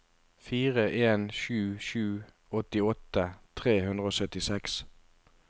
fire en sju sju åttiåtte tre hundre og syttiseks